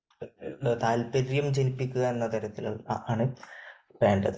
താല്പര്യം ജനിപ്പിക്കുക എന്ന തരത്തിൽ ആണ് വേണ്ടത്.